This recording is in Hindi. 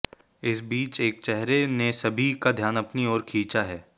इस बीच एक चेहरे ने सभी का ध्यान अपनी ओर खींचा है